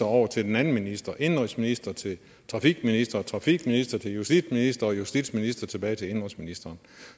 over til den anden minister fra indenrigsministeren til trafikministeren og trafikministeren til justitsministeren justitsministeren tilbage til indenrigsministeren